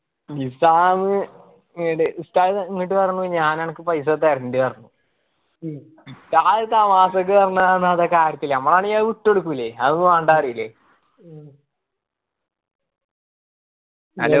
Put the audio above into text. നിസ്സാമ്മ് എടേ ഉസ്താദ് എന്നിട്ട് പറഞ്ഞു ഞാൻ അനക്ക് paisa തരാണ്ട് പറഞ് ഉസ്താദ് തമാശക്ക് പറഞാന്ന് അത് കാര്യത്തില് ഞമ്മളാണെങ്കി അത് വിട്ട് കൊട്ക്കുലെ അത് വേണ്ട പര്യുല്ലേ